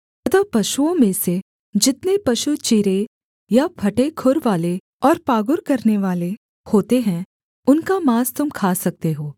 अतः पशुओं में से जितने पशु चिरे या फटे खुरवाले और पागुर करनेवाले होते हैं उनका माँस तुम खा सकते हो